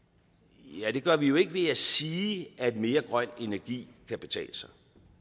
ja det gør vi jo ikke ved at sige at mere grøn energi kan betale sig